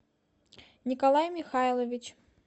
николай михайлович